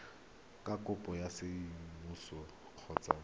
ka puo ya seesimane kgotsa